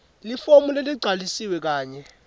lifomu leligcwalisiwe kanye